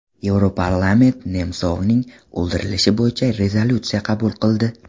Yevroparlament Nemsovning o‘ldirilishi bo‘yicha rezolyutsiya qabul qildi.